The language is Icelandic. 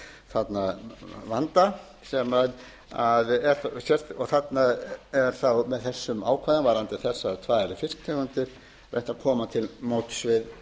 þarna vanda sem og þarna er þá þessum ákvæðum varðandi þessar tvær fisktegundir reynt að koma til móts við